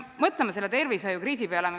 Mõtleme äsjase tervishoiukriisi peale.